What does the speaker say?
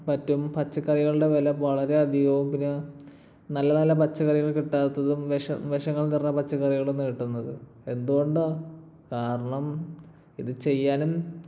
പറ്റും പച്ചക്കറികളുടെ വില വളരെ അധികവും പിന്നെ നല്ല നല്ല പച്ചക്കറികൾ കിട്ടാത്തതും വിഷ ~ വിഷങ്ങൾ നിറഞ്ഞ പച്ചക്കറികൾ ഇന്ന് കിട്ടുന്നത്. എന്തുകൊണ്ടാ? കാരണം ഇത് ചെയ്യാനും